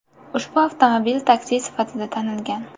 Ushbu avtomobil taksi sifatida tanilgan.